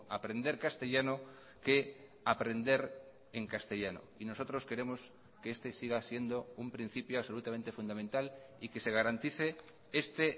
aprender castellano que aprender en castellano y nosotros queremos que este siga siendo un principio absolutamente fundamental y que se garantice este